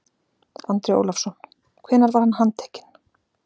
Andri Ólafsson: Hvenær var hann handtekinn?